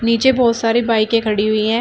नीचे बहुत सारे बाइके खड़ी हुई है।